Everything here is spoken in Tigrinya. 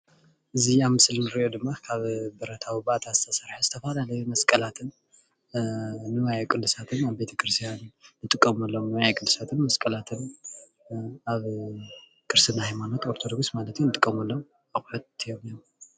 እዚ ኣብ ምስሊ እንሪኦ ድማ ካብ ብረታዊ ባእተ ዝተሰርሑ ዝተፈላለዩ መስቀላትን ንዋየቅዱሳትን ኣብ ቤቴክርስትያን እንጥቀመሎም ንዋየ ቅዲሲትን መሰቀላትን እንጥቀመሎም ኣቁሑት እዮም እኒሀው።